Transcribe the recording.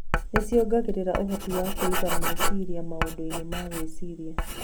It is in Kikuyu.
Nĩ ciongereraga ũhoti wa kũiga meciria maũndũ-inĩ na gwĩciria.